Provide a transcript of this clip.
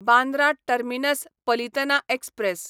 Bandra terminus Palitana express